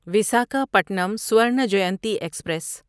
Visakhapatnam Swarna Jayanti express